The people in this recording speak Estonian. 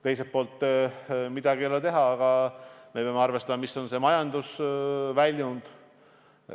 Teiselt poolt, midagi pole teha, me peame arvestama ka majandusväljundit.